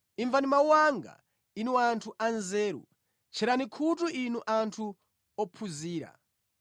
“Imvani mawu anga, inu anthu anzeru; tcherani khutu inu anthu ophunzira.